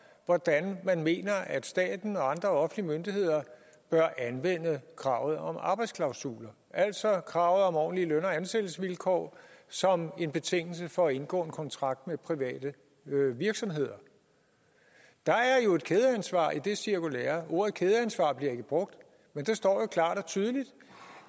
hvordan man mener at staten og andre offentlige myndigheder bør anvende kravet om arbejdsklausuler altså kravet om ordentlige løn og ansættelsesvilkår som en betingelse for at indgå en kontrakt med private virksomheder der er jo et kædeansvar i det cirkulære ordet kædeansvar bliver ikke brugt men der står jo klart og tydeligt